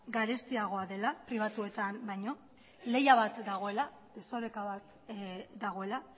garestiagoa dela pribatuetan baino lehia bat dagoela desoreka bat dagoela